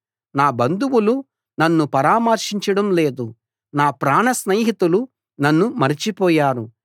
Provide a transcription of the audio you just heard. నా బంధువులు నన్ను పరామర్శించడం లేదు నా ప్రాణస్నేహితులు నన్ను మరచిపోయారు